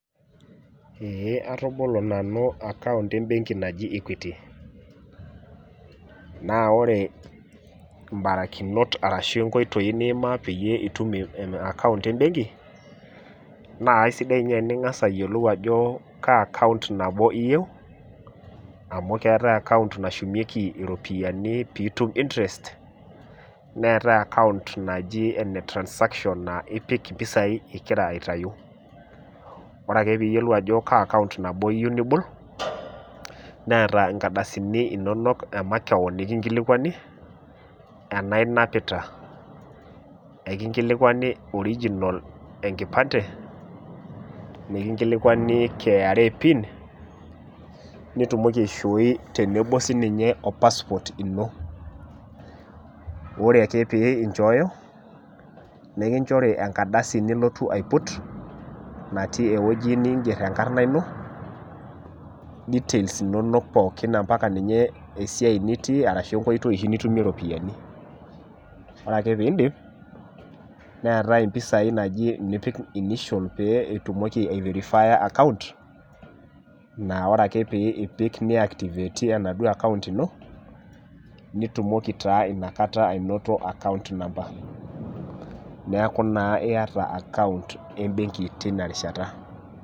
Ee atabolo nanu account ebenki naji equity naa ore mbarakinot ashu nkoitoi niimaa peyie itumaccount ebenki naa aisidai ninye teningas ayiolou ajo kaa account nabo iyieu amu keetae account nashumieki iropiyiani pitum interest , neetae account naji enetransaction naa ipik impisai ingira aitayu .Ore ake piyiolou ajo kaa account iyieu nibol , neeta nkardasini inonok emakewon nikinkilikwani enaa inapita , enkilikwani original enkipante, nikinkilikwani KRA pin , nitumoki aishooi tenebo sininye opassport ino . Ore ake pee inchooyo , nekinchori enkadasi nilotu aiput , natii ewueji ninger enkarna ino , details inonok pookin amapaka ninye esiai oshi nitii ashu enkoitoi oshi nitumie ropiyiani . Ore ake piindip neetae impisai nipik inaji initial pee eitumoiki aiverifeyer , naa account naa ore ake pee ipik neactivate enaduo account ino ,nitumoki taa inakata ainoto account number , neeku naa iyata account ebenki tinarishata.